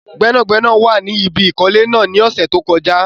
Gbẹ́nàgbẹ́nà wà ní ibi ìkọ́lé náà ní ọ̀sẹ̀ tí ó kọjá